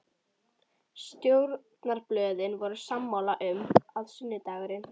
Stjórnarblöðin voru sammála um, að sunnudagurinn